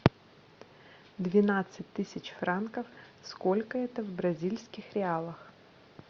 двенадцать тысяч франков сколько это в бразильских реалах